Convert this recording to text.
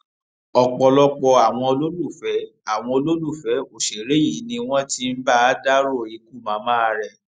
ọpọlọpọ àwọn olólùfẹ àwọn olólùfẹ òṣèré yìí ni wọn ti ń bá a dárò ikú màmá rẹ